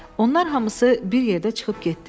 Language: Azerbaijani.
Onlar hamısı bir yerdə çıxıb getdilər.